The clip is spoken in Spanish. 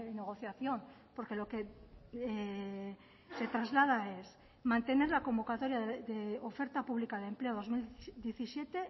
negociación porque lo que se traslada es mantener la convocatoria de oferta pública de empleo dos mil diecisiete